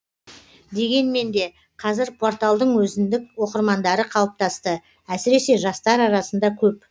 дегенмен де қазір порталдың өзіндік оқырмандары қалыптасты әсіресе жастар арасында көп